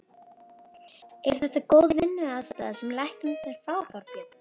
Er þetta góð vinnuaðstaða sem læknarnir fá, Þorbjörn?